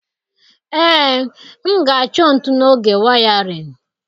Ee, m ga-achọ ntụ n'oge wiring.